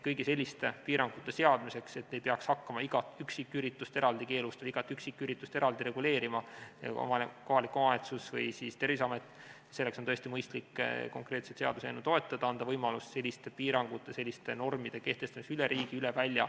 Kõigi selliste piirangute seadmiseks, et kohalik omavalitsus või Terviseamet ei peaks hakkama igat üksiküritust eraldi keelustama, igat üksiküritust eraldi reguleerima, on tõesti mõistlik konkreetset seaduseelnõu toetada, anda võimalus selliste piirangute ja selliste normide kehtestamiseks üle riigi, üle välja.